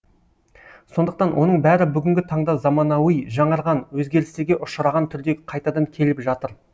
сондықтан оның бәрі бүгінгі таңда заманауи жаңарған өзгерістерге ұшыраған түрде қайтадан келіп жатыр